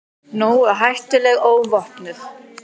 Nógu hættuleg óvopnuð.